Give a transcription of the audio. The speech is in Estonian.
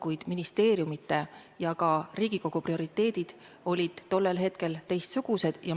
Kuid ministeeriumide ja ka Riigikogu prioriteedid olid tollel hetkel teistsugused.